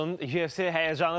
YFC həyəcanı davam edir.